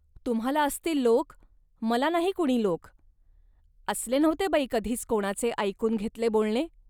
तुम्हांला असतील लोक, मला नाही कुणी लोक. असले नव्हते बाई कधीच कोणाचे ऐकून घेतले बोलणे